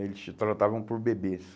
Eles te tratavam por bebês.